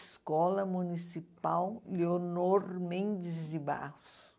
Escola Municipal Leonor Mendes de Barros.